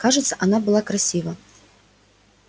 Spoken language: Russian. кажется она была красива